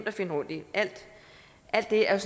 at finde rundt i alt det er